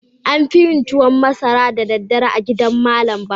An fi yin tuwan masara da daddare a gidan malam Bahaushe.